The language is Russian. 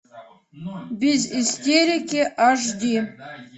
без истерики аш ди